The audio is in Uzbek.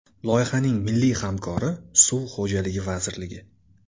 Loyihaning milliy hamkori Suv xo‘jaligi vazirligi.